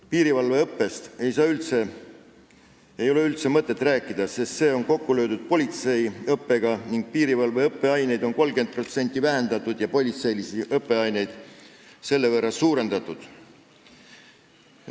Piirivalveõppest ei ole üldse mõtet rääkida, sest see on politseiõppega kokku löödud, piirivalveõppeaineid on 30% vähendatud ja politseiõppeaineid selle võrra suurendatud.